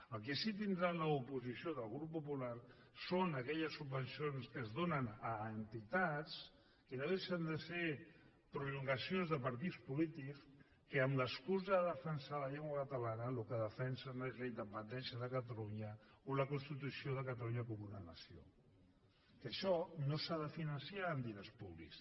el que sí que tindrà l’oposició del grup popular són aquelles subvencions que es donen a entitats que no deixen de ser prolongacions de partits polítics que amb l’excusa de defensar la llengua catalana el que defensen és la independència de catalunya o la constitució de catalunya com una nació que això no s’ha de finançar amb diners públics